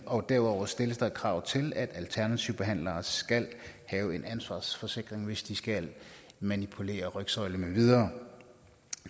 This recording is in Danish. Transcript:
og derudover stilles der krav til at alternative behandlere skal have en ansvarsforsikring hvis de skal manipulere rygsøjlen med videre